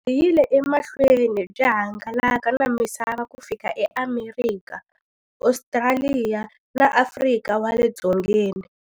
Byi yile emahlweni byi hangalaka na misava ku fika eAmerika, Ostraliya na Afrika wale dzongeni.